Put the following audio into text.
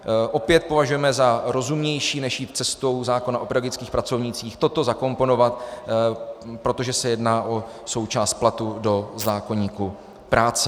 Opět považujeme za rozumnější, než jít cestou zákona o pedagogických pracovnících, toto zakomponovat, protože se jedná o součást platu, do zákoníku práce.